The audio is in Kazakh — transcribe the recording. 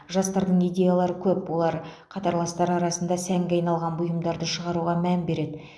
жастардың идеялары көп олар қатарластары арасында сәнге айналған бұйымдарды шығаруға мән береді